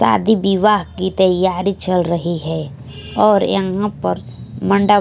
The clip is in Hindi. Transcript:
शादी विवाह की तैयारी चल रही है और यहां पर मंडप--